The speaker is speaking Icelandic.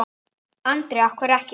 Andri: Af hverju ekki?